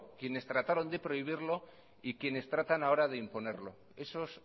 quienes trataron de prohibirlo y quienes tratan ahora de imponerlo esos